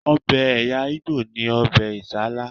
Ọbẹ̀ ẹ̀̀yà ìgbò ni ọbẹ̀ Isala